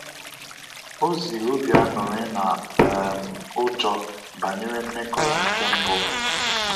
O ziri obi aṅụrị na um ụjọ banyere mmekọ ya nke mbu